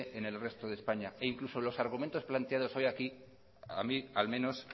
en el resto de españa e incluso los argumentos planteados hoy aquí a mí al menos